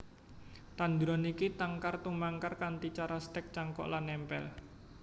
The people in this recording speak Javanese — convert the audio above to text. Tanduran iki tangkar tumangkar kanthi cara stèk cangkok lan nempel